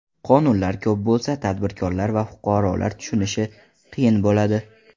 Qonunlar ko‘p bo‘lsa, tadbirkorlar va fuqarolar tushunishi qiyin bo‘ladi.